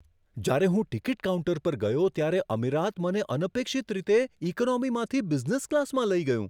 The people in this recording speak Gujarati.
જ્યારે હું ટિકિટ કાઉન્ટર પર ગયો ત્યારે અમીરાત મને અનપેક્ષિત રીતે ઈકોનોમીમાંથી બિઝનેસ ક્લાસમાં લઈ ગયું.